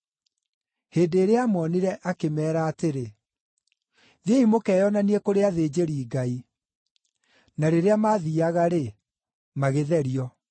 Hĩndĩ ĩrĩa aamoonire, akĩmeera atĩrĩ, “Thiĩi mũkeyonanie kũrĩ athĩnjĩri-Ngai.” Na rĩrĩa maathiiaga-rĩ, magĩtherio.